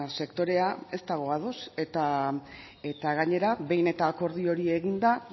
sektorea ez dago ados eta gainera behin eta akordio hori eginda